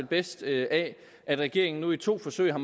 bedst af at regeringen nu i to forsøg har